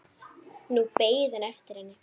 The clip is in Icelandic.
Nú beið hann eftir henni.